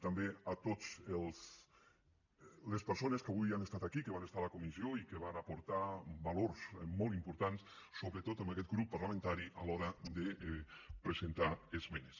també a totes les persones que avui han estat aquí que van estar a la comissió i que van aportar valors molt importants sobretot a aquest grup parlamentari a l’hora de presentar esmenes